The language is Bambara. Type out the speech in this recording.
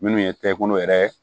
Minnu ye kɛkɔnɔ yɛrɛ ye